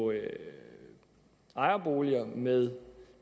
ejerboliger med